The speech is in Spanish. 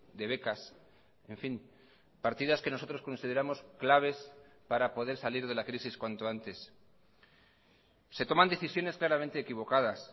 de becas en fin partidas que nosotros consideramos claves para poder salir de la crisis cuanto antes se toman decisiones claramente equivocadas